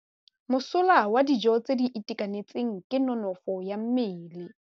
Mosola wa dijô tse di itekanetseng ke nonôfô ya mmele.